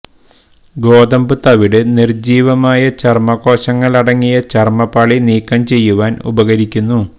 ഗോതമ്പ് തവിട് നിർജ്ജീവമായ ചർമ്മകോശങ്ങൾ അടങ്ങിയ ചർമ്മപാളി നീക്കം ചെയ്യുവാൻ ഉപകരിക്കുന്നു